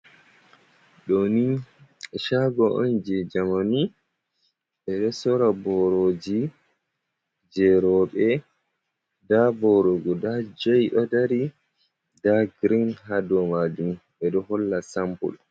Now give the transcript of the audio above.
Ɗo ni shago on jei jamani, ɓe ɗo sora boroji jei rowɓe, nda boro guda joi ɗo dari, nda girin ha dou majum ɓe ɗo holla sampul.